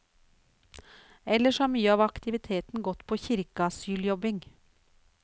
Ellers har mye av aktiviteten gått på kirkeasyljobbing.